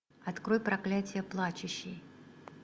открой проклятие плачущей